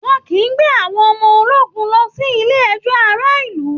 wọn kìí gbé àwọn ọmọ ológun lọ sí ilé ẹjọ́ ará ìlú